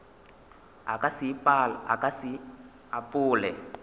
a ka se e apole